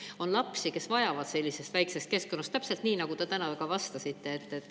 On lapsi, kes vajavad sellist väikest keskkonda, täpselt nii, nagu te täna ka ütlesite.